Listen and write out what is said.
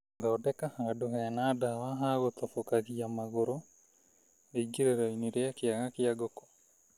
Thokenda handũ hena ndawa ha gũtobokagia magũrũ rĩingĩrĩro-inĩ rĩa kĩaga kĩa ngũkũ.